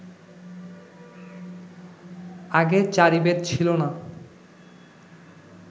আগে চারি বেদ ছিল না